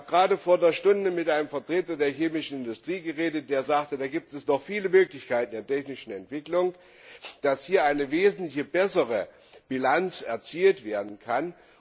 Ich habe gerade vor einer Stunde mit einem Vertreter der chemischen Industrie geredet, der sagte, dass es noch viele Möglichkeiten der technischen Entwicklung gebe, sodass hier eine wesentlich bessere Bilanz erzielt werden könne.